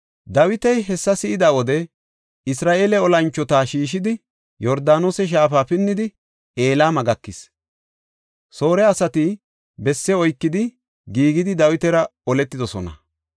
Dawiti hessa si7ida wode, Isra7eele olanchota shiishidi, Yordaanose shaafa pinnidi Elama gakis. Soore asati besse oykidi, giigidi, Dawitara oletidosona.